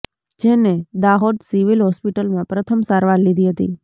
જેને દાહોદ સિવિલ હોસ્પિટલમાં પ્રથમ સારવાર લીધી હતી